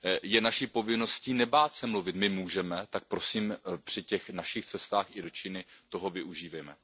Je naší povinností nebát se mluvit, my můžeme, tak prosím při těch našich cestách i do Číny toho využívejme.